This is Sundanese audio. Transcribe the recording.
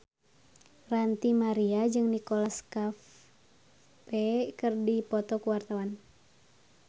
Ranty Maria jeung Nicholas Cafe keur dipoto ku wartawan